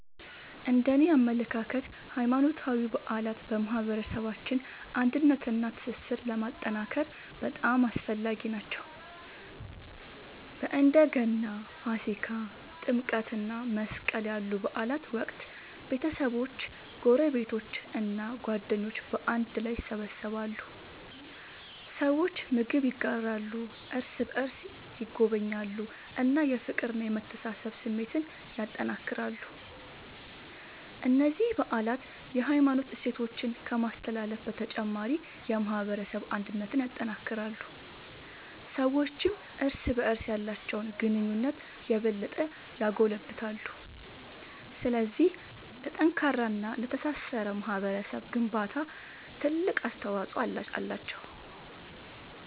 እነደኔ አመለካከት ሃይማኖታዊ በዓላት በማህበረሰባችን አንድነትንና ትስስርን ለማጠናከር በጣም አስፈላጊ ናቸው። በእንደ ገና፣ ፋሲካ፣ ጥምቀት እና መስቀል ያሉ በዓላት ወቅት ቤተሰቦች፣ ጎረቤቶች እና ጓደኞች በአንድ ላይ ይሰበሰባሉ። ሰዎች ምግብ ይጋራሉ፣ እርስ በርስ ይጎበኛሉ እና የፍቅርና የመተሳሰብ ስሜትን ያጠናክራሉ። እነዚህ በዓላት የሃይማኖት እሴቶችን ከማስተላለፍ በተጨማሪ የማህበረሰብ አንድነትን ያጠናክራሉ። ሰዎችም እርስ በርስ ያላቸውን ግንኙነት የበለጠ ያጎለብታሉ። ስለዚህ ለጠንካራና ለተሳሰረ ማህበረሰብ ግንባታ ትልቅ አስተዋጽኦ አላቸው።